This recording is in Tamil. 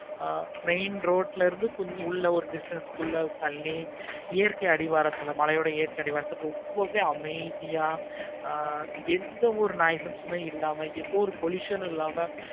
ஆஹ் main road ல இருந்து கொஞ்சம் ஒரு distance குள்ள தள்ளி இயற்கை அடிவாரத்துல மழையோடு இயற்கை அடிவாரத்துல ரொம்பவே அமைதியா ஆஹ் எந்த ஒரு உ இல்லாம pollution உ இல்லாம